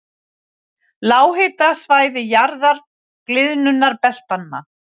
Lághitasvæði- jaðrar gliðnunarbeltanna